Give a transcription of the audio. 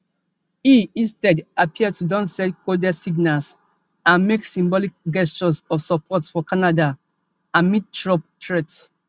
e instead appear to don send coded signals and make symbolic gestures of support for canada amid trump threats